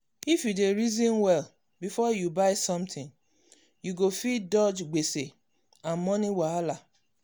if you dey reason well before you buy something you go fit dodge gbese and money wahala.